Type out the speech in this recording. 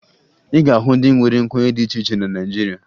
Ị ga-ahụ ndị nwere nkwenye dị iche iche na Naịjirịa